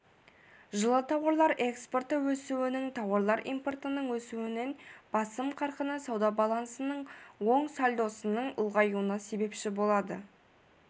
жылы тауарлар экспорты өсуінің тауарлар импортының өсуінен басым қарқыны сауда балансының оң сальдосының ұлғаюына себепші болады